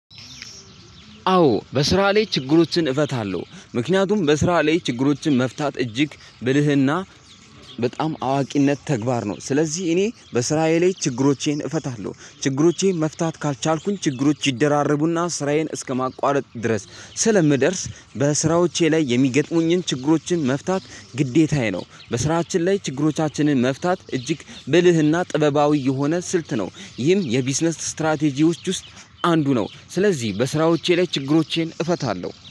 አዎ በስራ ላይ ችግሮችን እፈታለሁ ምክንያቱም በስራ ላይ ችግሮችን መፍታት እጅግ ብልህና በጣም አዋቂነት ተግባር ነው። ስለዚህ እኔ በስራዬ ላይ ችግሮቼን እፈታለሁ ችግሮቼን መፍታት ካልቻልኩኝ ችግሮች ይደራረቡና ስራዬን እስከማቋረጥ ድረስ ስለምደርስ በስራዎቼ ላይ የሚገጥሙኝን ችግሮችን መፍታት ግዴታዬ ነው። በስራችን ላይ ችግሮቻችንን መፍታት እጅግ ብልህና ጥበባዊ የሆነ ስልት ነው። ይህም የቢዝነስ ስትራቴጂዎች ውስጥ አንዱ ነው። ስለዚህ በስራዎቼ ላይ ችግሮቼን እፈታለሁ